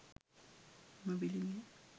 එම පිළිමය